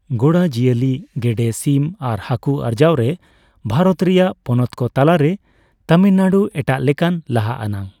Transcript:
ᱜᱚᱲᱟ ᱡᱤᱭᱟᱹᱞᱤ, ᱜᱮᱰᱮᱼᱥᱤᱢ ᱟᱨ ᱦᱟᱹᱠᱩ ᱟᱨᱡᱟᱣ ᱨᱮ ᱵᱷᱟᱨᱚᱛ ᱨᱮᱭᱟᱜ ᱯᱚᱱᱚᱛᱠᱚ ᱛᱟᱞᱟᱨᱮ ᱛᱟᱢᱤᱞᱱᱟᱲᱩ ᱮᱴᱟᱜᱞᱮᱠᱟᱱ ᱞᱟᱦᱟ ᱟᱱᱟᱜ ᱾